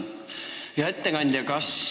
Hea ettekandja!